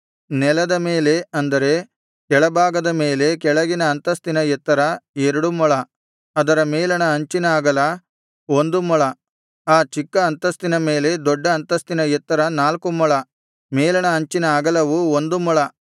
ನೆಲದ ಮೇಲೆ ಅಂದರೆ ಕೆಳಭಾಗದ ಮೇಲೆ ಕೆಳಗಿನ ಅಂತಸ್ತಿನ ಎತ್ತರ ಎರಡು ಮೊಳ ಅದರ ಮೇಲಣ ಅಂಚಿನ ಅಗಲ ಒಂದು ಮೊಳ ಆ ಚಿಕ್ಕ ಅಂತಸ್ತಿನ ಮೇಲೆ ದೊಡ್ಡ ಅಂತಸ್ತಿನ ಎತ್ತರ ನಾಲ್ಕು ಮೊಳ ಮೇಲಣ ಅಂಚಿನ ಅಗಲವು ಒಂದು ಮೊಳ